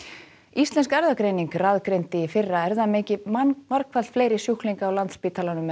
íslensk erfðagreining raðgreindi í fyrra erfðamengi margfalt fleiri sjúklinga á Landspítalanum en